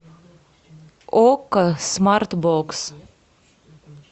окко смарт бокс